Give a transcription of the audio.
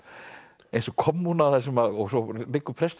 eins og kommúna og svo liggur presturinn